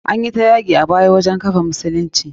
Anyi ta yaki a baya wajen kafa musulunci.